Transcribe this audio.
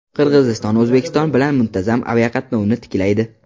Qirg‘iziston O‘zbekiston bilan muntazam aviaqatnovni tiklaydi.